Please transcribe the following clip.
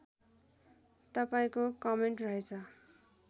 तपाईँको कमेन्ट रहेछ